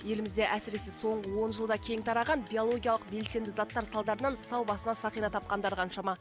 елімізде әсіресе соңғы он жылда кең тараған биологиялық белсенді заттар салдарынан сау басына сақина тапқандар қаншама